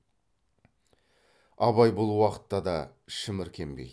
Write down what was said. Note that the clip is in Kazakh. абай бұл уақытта да шіміркенбейді